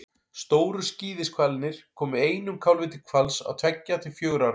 stóru skíðishvalirnir koma einum kálfi til hvals á tveggja til fjögurra ára fresti